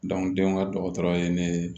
denw ka dɔgɔtɔrɔ ye ne